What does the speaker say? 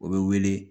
O bɛ wele